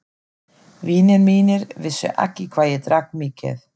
Vinir mínir vissu ekki hvað ég drakk mikið.